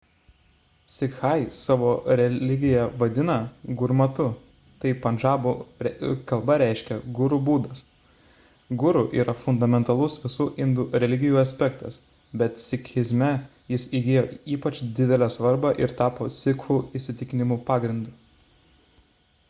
sikhai savo religiją vadina gurmatu tai pandžabų kalba reiškia guru būdas guru yra fundamentalus visų indų religijų aspektas bet sikhizme jis įgijo ypač didelę svarbą ir tapo sikhų įsitikinimų pagrindu